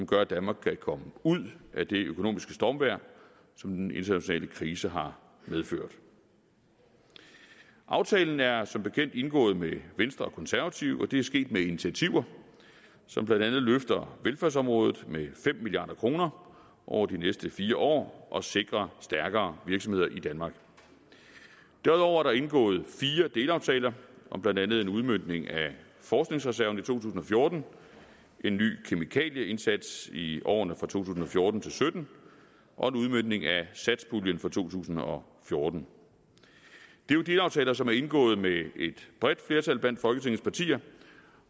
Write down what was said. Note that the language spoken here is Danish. gør at danmark kan komme ud af det økonomiske stormvejr som den internationale krise har medført aftalen er som bekendt indgået med venstre og konservative og det er sket med initiativer som blandt andet løfter velfærdsområdet med fem milliard kroner over de næste fire år og sikrer stærkere virksomheder i danmark derudover er der indgået fire delaftaler om blandt andet en udmøntning af forskningsreserven i to tusind og fjorten en ny kemikalieindsats i årene to tusind og fjorten til sytten og en udmøntning af satspuljen for to tusind og fjorten det er jo delaftaler som er indgået med et bredt flertal blandt folketingets partier